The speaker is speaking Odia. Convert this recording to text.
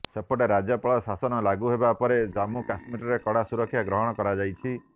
ସେପଟେ ରାଜ୍ୟପାଳ ଶାସନ ଲାଗୁ ହେବା ପରେ ଜାମ୍ମ କାଶ୍ମୀରରେ କଡ଼ା ସୁରକ୍ଷା ଗ୍ରହଣ କରାଯାଇଛି